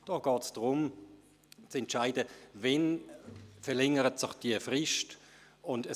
Deshalb geht es darum, zu entscheiden, wann sich die Frist verlängert.